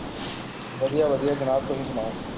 ਵਧੀਆ ਵਧੀਆ ਜਨਾਬ, ਤੁਸੀਂ ਸੁਣਾਉ?